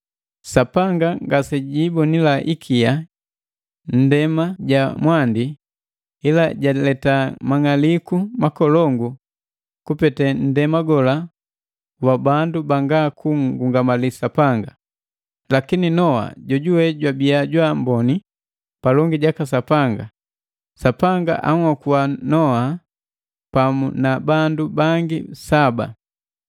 Sapanga ngasejiibonila ikia nndema ja mwandi, ila jaleta mang'aliku makolongu kupete nndema gola wa bandu banga kunngungamali Sapanga; lakini Noa jojuwe jwabiya jwa amboni palongi jaka Sapanga, Sapanga anhokua Nuhu pamu na bandu bangi saba.